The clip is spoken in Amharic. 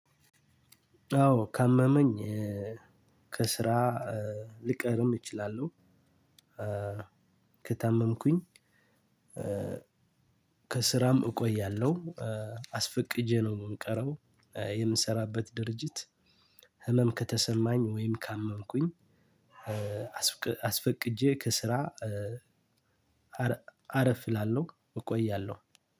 አዎ ካመመኝ ከስራ ልቀርም እችላለሁ። ከታመምኩኝ ከስራም እቆያለሁ። አስፈቅጄ ነው የምንቀረው የምንሰራበት ድርጅት። ህመም ከተሰማኝ ወይም ካመምኩኝ አስፈቅጄ ከስራ። አረፍ እላለሁ እቆያለሁ